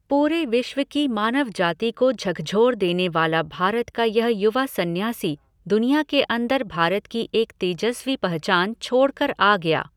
पूरे विश्व की मानव जाति को झकझोर देने वाला भारत का यह युवा सन्यासी दुनिया के अन्दर भारत की एक तेजस्वी पहचान छोड़ कर आ गया।